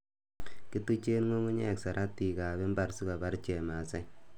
Kituchen ng'ungunyek saratikab mbar sikobar chemasai.